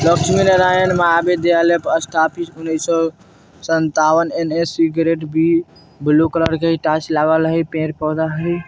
लक्ष्मी नारायण महाविश्वविद्यालय पर स्थापित उन्नीस सौ संतावन N S. Grade B blue colour के टाइल्स लागल हई पेड़-पौधा हई।